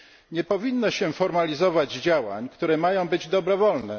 Nie powinno się formalizować działań, które mają być dobrowolne.